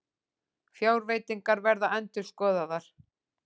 Fjárveitingar verða endurskoðaðar